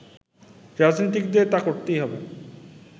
রাজনীতিকদের তা করতেই হবে